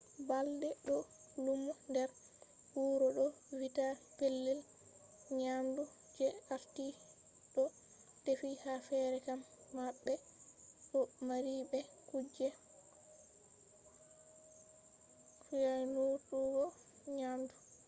balɗe ɗo lumo nder wuro ɗo vitta pellel nyamdu je arti ɗo defi. ha fere kam ma ɓe ɗo mari be kuje fyaunutuggo nyamdu